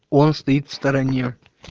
он стоит в стороне